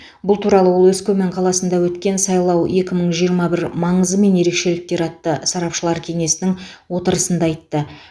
бұл туралы ол өскемен қаласында өткен сайлау екі мың жиырма бір маңызы мен ерекшеліктері атты сарапшылар кеңесінің отырысында айтты